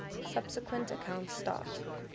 subsequent accounts start